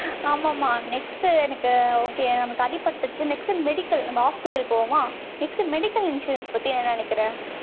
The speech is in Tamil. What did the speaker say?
next எனக்கு okay நமக்கு அடிபட்டுருச்சு, next medical, நம்ம hospital போவோமா? next medical insurance பத்தி, என்ன நினைக்கிற